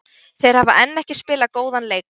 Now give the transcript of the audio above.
Þeir hafa enn ekki spilað góðan leik.